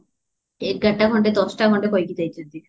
ଏଗାରଟା ଦଶଟା ଖଣ୍ଡି କହିକି ଯାଇଚନ୍ତି